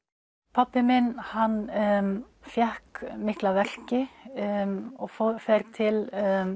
pabbi minn hann fékk mikla verki og fer til